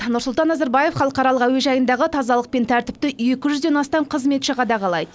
нұрсұлтан назарбаев халықаралық әуежайындағы тазалық пен тәртіпті екі жүзден астам қызметші қадағалайды